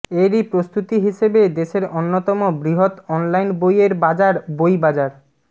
এরই প্রস্তুতি হিসেবে দেশের অন্যতম বৃহৎ অনলাইন বইয়ের বাজার বইবাজার